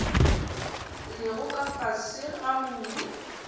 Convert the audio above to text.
lego ka fase ga mobu